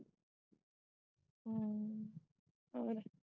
ਹੋਰ?